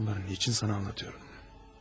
Bütün bunları nə üçün sənə danışıram?